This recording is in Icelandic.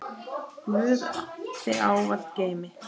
Guð þig ávallt geymi.